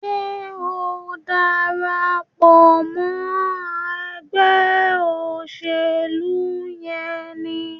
Ṣe o ń darapọ̀ mọ ègbé òṣèlú yén ní?